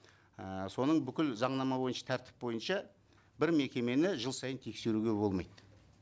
і соның бүкіл заңнама бойынша тәртіп бойынша бір мекемені жыл сайын тексеруге болмайды